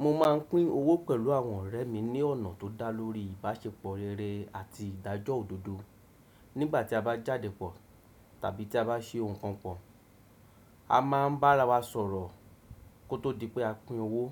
Mo máa ń pín owó pẹ̀lú àwọn ọ̀rẹ́ mi ní ọ̀nà tó dá lórí ìbáṣepọ̀ rere àti ìdájọ́ òdodo. Nígbà tí a bá jáde pọ̀ tàbí tí a bá ṣe ohun kan pọ̀, a máa ń bára wa sọ̀rọ̀ kó tó di pé a pín owó,